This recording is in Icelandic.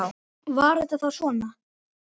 Var þetta þá svona?